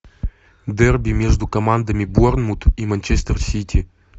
дерби между командами борнмут и манчестер сити